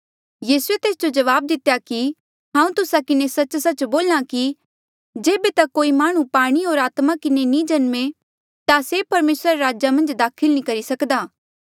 यीसूए तेस जो जवाब दितेया कि हांऊँ तुस्सा किन्हें सच्च सच्च बोल्हा कि जेबे तक कोई माह्णुं पाणी होर आत्मा किन्हें नी जम्मे ता से परमेसरा रे राजा मन्झ दाखल नी करी सक्दा